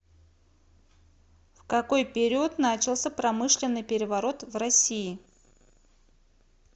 в какой период начался промышленный переворот в россии